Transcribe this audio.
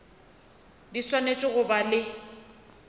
di swanetše go ba le